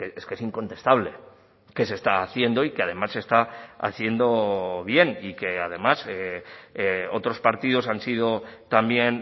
es que es incontestable que se está haciendo y que además se está haciendo bien y que además otros partidos han sido también